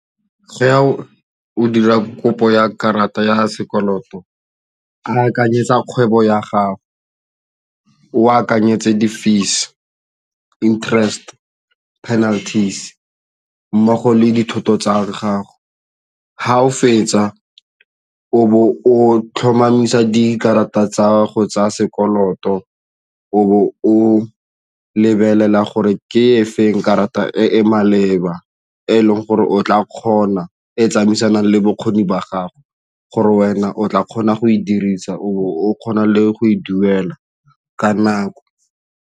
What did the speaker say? O ya o dira kopo ya karata ya sekoloto a akanyetsa kgwebo ya gago, o akanyetse di-fees interest penalties mmogo le dithoto tsa gago ga o fetsa o bo o tlhomamisa dikarata tsa go tsaya sekoloto o bo o lebelela gore ke efeng karata e e maleba e tsamaisanang le bokgoni jwa gago gore wena o tla kgona go e dirisa, o kgona le go e duela ka nako.